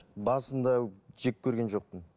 басында жек көрген жоқпын